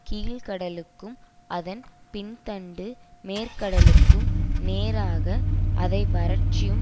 கீழ்க்கடலுக்கும் அதன் பின் தண்டு மேற்கடலுக்கும் நேராக அதை வறட்சியும்